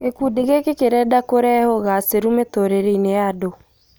Gĩkundi gĩki kĩrenda kũrehe ũgacĩru mĩtũrĩre-inĩya andũ